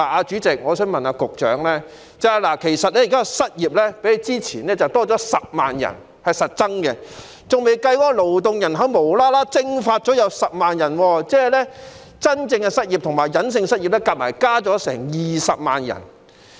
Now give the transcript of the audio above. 主席，我想問局長，現時失業人數較之前多了10萬人，是實質的增長，還未計算無故"蒸發"了的10萬名勞動人口，即顯性和隱性的失業人數合共增加了20萬人。